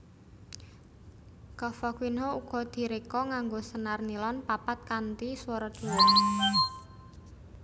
Cavaquinho uga diréka nganggo senar nilon papat kanthi swara dhuwur